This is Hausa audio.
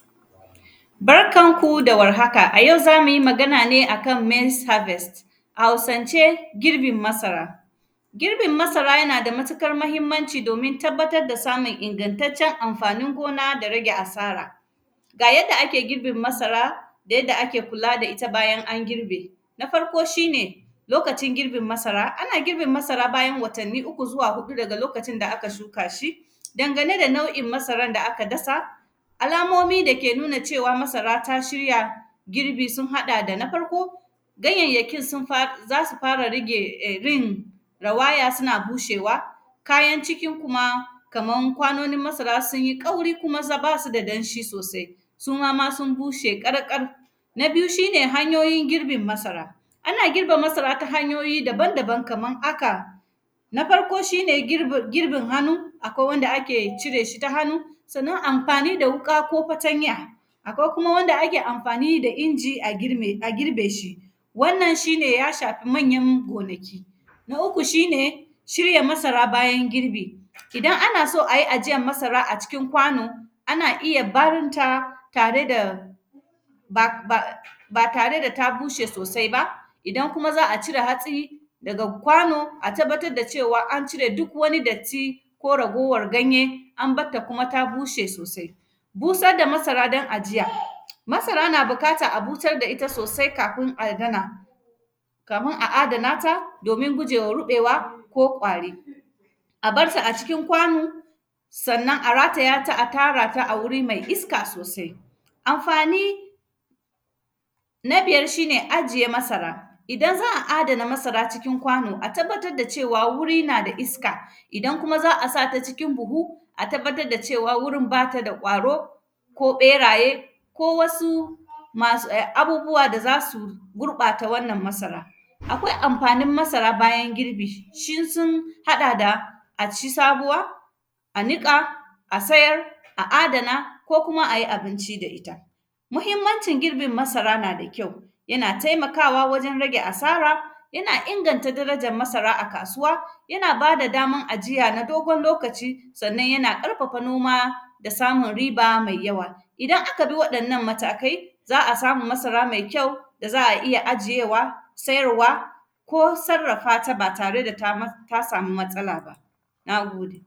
Barkan ku da warhaka, a yau za mu yi magana ne a kan “maize harvest’, a Hausance, girbin masara. Girbin masara yana da matikar mahimmanci domin tabbatar da samun ingantaccen amfani gona da rage asara. Ga yadda ake girbin masara da yadda ake kula da ita bayan an girbe. Na farko, shi ne, lokacin girbin masara, ana girbin masara bayan watanni uku zuwa huɗu daga lokacin da aka shuka shi. Dangane da nau’in masaran da aka dasa, alamomi da ke nuna cewa masara ta shirya girbi, sun haɗa da na farko, ganyayyakin sun fa; za su fara rage eh; rin, rawaya sina bushewa, kayan cikin kuma, kaman kwanonin masara sun yi ƙauri kuma za; ba su da danshi sosai. Su ma ma sun bushe ƙarƙar. Na biyu, shi ne hanyoyin girbin masara, ana girbe masara ta hanyoyi daban-daban, kaman aka. Na farko, shi ne girba; girbin hanu, akwai wanda ake cire shi ta hanu, sannan, amfani da wuƙa ko fatanya. Akwai kuma wanda ake amfani da inji a grime, a girbe shi, wannan shi ne ya shafi manyan gonaki. Na uku, shi ne shirya masara bayan girbi, idan ana so a yi ajiyan masara a cikin kwano, ana iya barin ta tare da ba; ba; ba tar da ta bushe sosai ba. Idan kuma za a cire hatsi daga kwano, a tabbatad da cewa an cire duk wani datti ko ragowar ganye, an bat ta kuma ta bushe sosai. Busad da masara son ajiya, masara na bikata a busar da ita sosai kafin adana. Kamin a adana ta, domin guje wa ruƃewa ko ƙwari. A bar su a cikin kwanu, sannan a rataya ta a tara ta a wuri mai iska sosai. Amfani, na biyar, shi ne ajiye masara, idan za a adana masara cikin kwano, a tabbatad da cewa wuri na da iska, idan kuma za a sa ta cikin buhu, a tababtad da cewa wurin ba ta da ƙwaro ko ƃeraye ko wasu masu; e; abubuwa da za su gurƃata wannan masara. Akwai amfanin masara bayan girbi, shi sun haɗa da a ci sabuwa, a niƙa, a sayar, a adana ko kuma a yi abinci da ita. Muhimmancin girbin masara na da kyau, yana temakawa wajen rage asara, yana inganta darajan masara a kasuwa, yana ba da daman ajiya na dogon lokaci. Sannan, yana ƙarfafa noma da samun riba mai yawa. Idan aka bi waɗannan matakai, za a samu masara mai kyau da za a iya ajiyewa, sayarwa ko sarrafa ta ba tare da ta mats; ta sami matsala ba, na gode.